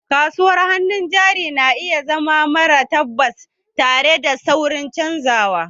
Kasuwar hannun jari na iya zama mara tabbas, tare da saurin canzawa